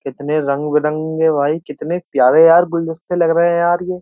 कितने रंग बिरंगे भाई कितने प्यारे यार गुलदस्ते लग रहे हैं यार ये।